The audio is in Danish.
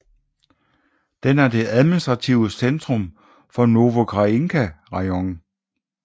Den er det administrative centrum for Novoukrajinka rajon